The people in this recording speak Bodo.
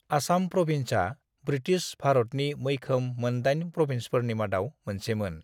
आसाम प्रभिन्सआ ब्रिटिश भारतनि मैखोम मोन दाइन प्रभिन्सफोरनि मादाव मोनसेमोन।